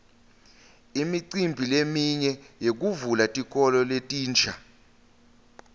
imicimbi leminye yekuvula tikolo letinsha